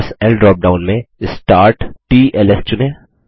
SSL drop down में स्टार्टटल्स चुनें